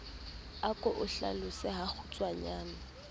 a ke o hlalose hakgutshwanyane